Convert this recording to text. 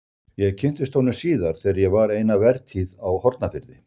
Ég kynntist honum síðar þegar ég var eina vertíð á Hornafirði.